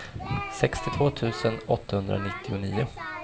sextiotvå tusen åttahundranittionio